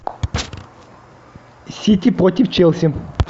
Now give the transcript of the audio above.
сити против челси